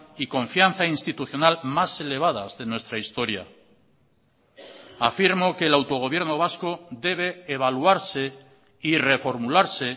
y confianza institucional más elevadas de nuestra historia afirmo que el autogobierno vasco debe evaluarse y reformularse